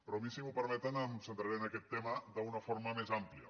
però jo si m’ho permeten em centraré en aquest tema d’una forma més àmplia